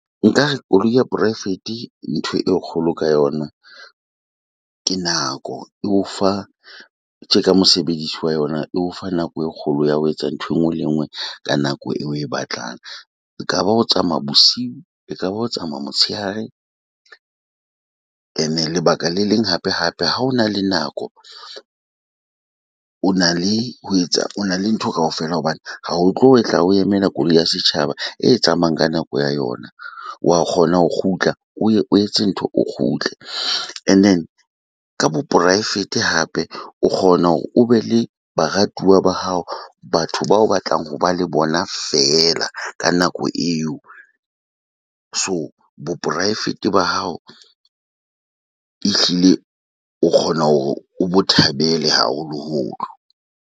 Nka re koloi ya poraefete ntho e kgolo ka yona ke nako, e o fa tje ka mosebedisi wa yona, E o fa nako e kgolo ya ho etsa ntho enngwe le nngwe ka nako eo, oe batlang. Ekaba ho tsamaya bosiu ekaba ho tsamaya motshehare, ene lebaka le leng hape hape. Ha o na le nako o na le ho etsa o na le ntho kaofela hobane ha ho tlo etla o o emela koloi ya setjhaba e tsamayang ka nako ya yona. Wa kgona ho kgutla, o ye o etse ntho o kgutle. And then ka bo poraefete hape o kgona hore o be le baratuwa ba hao ba batho bao batlang ho ba le bona feela ka nako eo. So bo poraefete ba hao ehlile o kgona hore o bo thabele haholoholo.